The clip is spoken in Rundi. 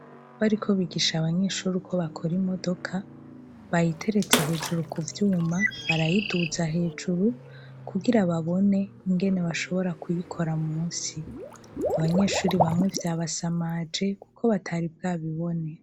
Bariko bigisha abanyeshuri uko bakora imodoka, bayiteretse hejuru ku vyuma barayiduta hejuru kugira babone ingene bashobora kuyikora munsi. Abanyeshuri bamwe vyabasamaje kuko batari bwabibone.